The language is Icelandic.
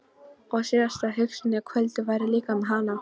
Og síðasta hugsunin á kvöldin væri líka um hann.